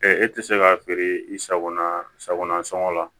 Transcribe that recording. e tɛ se k'a feere i sagona sagona sɔngɔ la